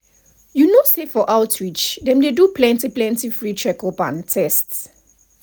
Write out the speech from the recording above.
you know say for outreach dem dey do plenty plenty free checkup and test.